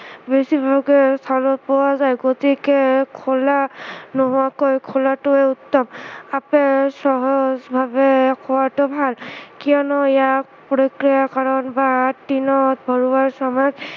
বেছিভাগেই খাব পোৱা যায় গতিকে খোলা নোহোৱাকৈ খোলাটোৱেই উত্তম, আপেল সহজভাৱে খোৱাটো ভাল কিয়নো ইয়াক প্ৰক্ৰিয়াকৰণ বা tin ত ভৰোৱাৰ সময়ত